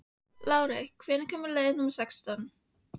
Lárey, hvenær kemur leið númer sextán?